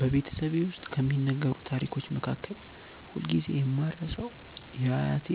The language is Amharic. በቤተሰቤ ውስጥ ከሚነገሩ ታሪኮች መካከል ሁልጊዜ የማልረሳው የአያቴ